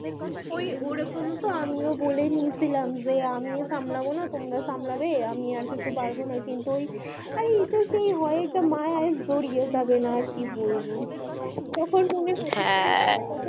ওই ও রকম তো আমি ও বলে দিয়ে ছিলাম যে আমি সামলাবোনা তোমরা সামলাবে আমি আর পারবো না কিন্তু ওই আরে এতে কি হয় একটা মা কি বুড়িয়ে যাবে না তখন কি হা